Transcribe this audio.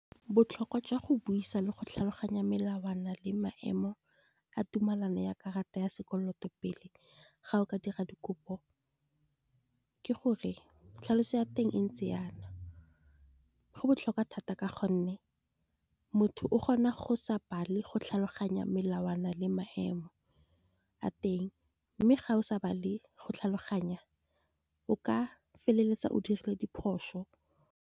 Botlhokwa jwa go buisa le go tlhaloganya melawana le maemo a tumelano, ya karata ya sekoloto pele ga o ka dira dikopo. Ke gore tlhaloso ya teng e ntse jana, go botlhokwa thata ka gonne motho o kgona go sa bal, go tlhaloganya melawana le maemo a teng. Mme ga o sa ba le go tlhaloganya o ka feleletsa o dirile diphoso.